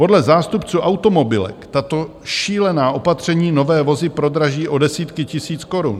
Podle zástupců automobilek tato šílená opatření nové vozy prodraží o desítky tisíc korun.